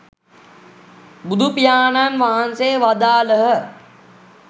බුදුපියාණන් වහන්සේ වදාළහ.